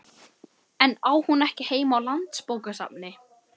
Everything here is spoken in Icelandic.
En á hún ekki heima á Landsbókasafni?